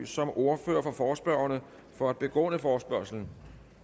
som ordfører for forespørgerne for at begrunde forespørgslen